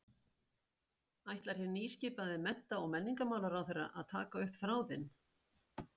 Ætlar hinn nýskipaði mennta- og menningarmálaráðherra að taka upp þráðinn?